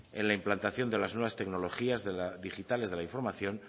en la implantación de las nuevas tecnologías digitales de la información